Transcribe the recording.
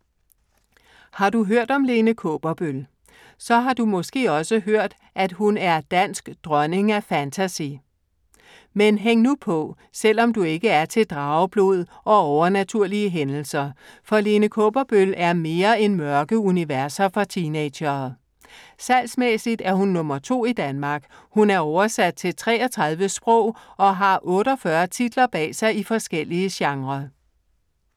Har du hørt om Lene Kaaberbøl? Så har du måske også hørt, at hun er dansk dronning af fantasy. Men hæng nu på, selv om du ikke er til drageblod og overnaturlige hændelser. For Lene Kaaberbøl er mere end mørke universer for teenagere. Salgsmæssigt er hun nummer to i Danmark. Hun er oversat til 33 sprog og har 48 titler bag sig i forskellige genrer.